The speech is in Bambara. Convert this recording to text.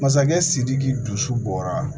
Masakɛ sidiki dusu bɔra